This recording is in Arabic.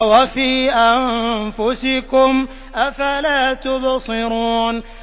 وَفِي أَنفُسِكُمْ ۚ أَفَلَا تُبْصِرُونَ